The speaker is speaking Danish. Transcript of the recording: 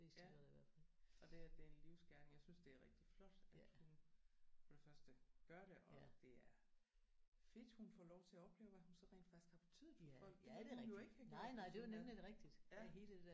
Ja og det at det er en livsgerning jeg synes det er rigtig flot at hun for det første gør det og det er fedt hun får lov til at opleve hvad hun så rent faktisk har betydet for folk det kunne hun jo ikke have gjort hvis hun er ja